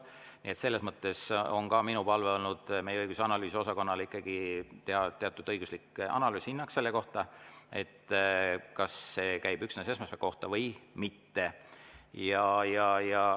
Nii et selles mõttes on mul olnud palve meie õigus- ja analüüsiosakonnale teha ikkagi teatud õiguslik analüüs, anda hinnang selle kohta, kas see käib üksnes esmaspäeva kohta või mitte.